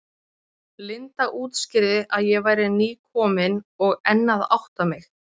Linda útskýrði að ég væri nýkomin og enn að átta mig.